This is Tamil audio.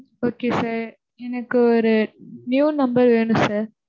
Okay sir. எனக்கு ஒரு new number வேணும் sir.